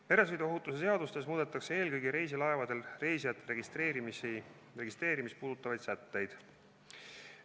Meresõiduohutuse seaduses muudetakse eelkõige reisilaevadel reisijate registreerimist puudutavaid sätteid.